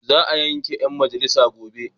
Za a yanke mujallar gobe.